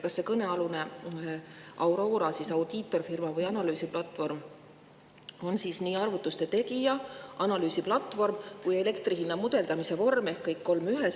Kas see Aurora audiitorfirma või analüüsiplatvorm on nii arvutuste tegija, analüüsiplatvorm kui ka elektri hinna mudeldamise vorm ehk kõik kolm ühes?